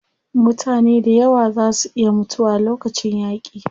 Mutane dayawa zaa su iya mutuwa lokacin yaaƙi.